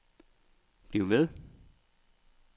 bliv ved